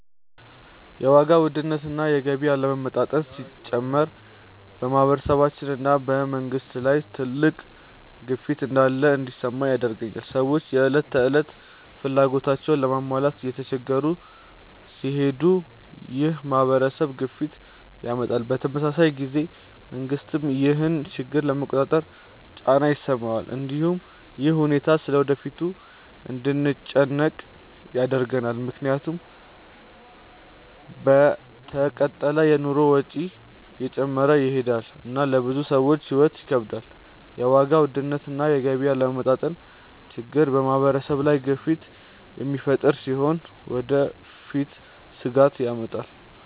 የዋጋ ውድነት እና የገቢ አለመመጣጠን ሲጨምር በማህበረሰብ እና በመንግስት ላይ ትልቅ ግፊት እንዳለ እንዲሰማኝ ያደርገኛል። ሰዎች የዕለት ተዕለት ፍላጎታቸውን ለመሟላት እየተቸገሩ ሲሄዱ ይህ ማህበራዊ ግፊትን ያመጣል። በተመሳሳይ ጊዜ መንግስትም ይህን ችግር ለመቆጣጠር ጫና ይሰማዋል። እንዲሁም ይህ ሁኔታ ስለ ወደፊቱ እንድንጨነቅ ያደርጋል፣ ምክንያቱም ከተቀጠለ የኑሮ ወጪ እየጨመረ ይሄዳል እና ለብዙ ሰዎች ሕይወት ይከብዳል። የዋጋ ውድነት እና የገቢ አለመመጣጠን ችግር በማህበረሰብ ላይ ግፊት የሚፈጥር ሲሆን ለወደፊትም ስጋት ያመጣል።